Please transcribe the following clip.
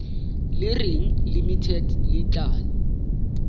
le reng limited le tla